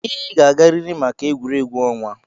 Ị ga-agarịrị maka egwuregwu ọnwa.